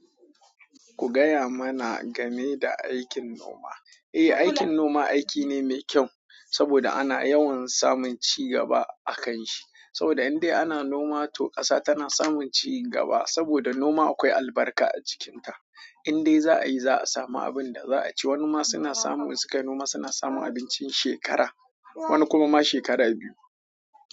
Ku gaya mana game da aikin noma. Eh, aikin noma aiki ne mai kyau saboda ana yawan samun cigaba a kanshi. Saboda indai ana noma to ƙasa tana samun cigaba. Saboda noma akwai albarka a cikinta. Indai za a yi za a samu abin da za a ci. Wani ma suna samun suka noma suna samun abincin shekara, wani kuma ma shekara biyu.